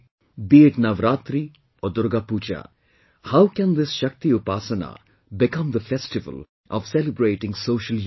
Be it Navratri or Durga Puja how can this SHAKTIUPASANA become the festival of celebrating social unity